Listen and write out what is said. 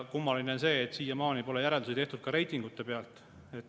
Kummaline on see, et siiamaani pole järeldusi tehtud reitingutest.